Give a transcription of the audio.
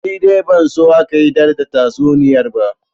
Ni dai ban so aka ida tatsuniyar ba